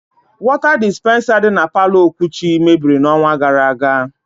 Wọta dispensa dị na palọ Okwuchi mebiri n' ọnwa gara aga.